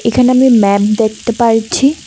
এখানে আমি ম্যাপ দেখতে পারছি।